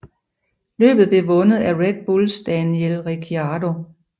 Løbet blev vundet af Red Bulls Daniel Ricciardo